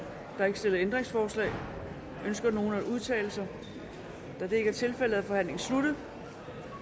er ikke stillet ændringsforslag ønsker nogen at udtale sig da det ikke er tilfældet er forhandlingen sluttet